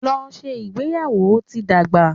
Lọ ṣe ìgbéyàwò! o ti n dagba.